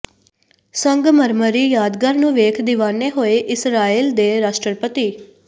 ਸੰਗਮਰਮਰੀ ਯਾਦਗਾਰ ਨੂੰ ਵੇਖ ਦੀਵਾਨੇ ਹੋਏ ਇਸਰਾਈਲ ਦੇ ਰਾਸ਼ਟਰਪਤੀ